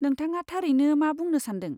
नोंथाङा थारैनो मा बुंनो सान्दों?